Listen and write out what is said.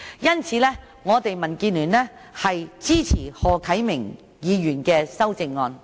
因此，我們民建聯支持何啟明議員提出的修正案。